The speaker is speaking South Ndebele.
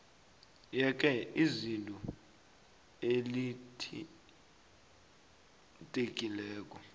yeke iziko elithintekileko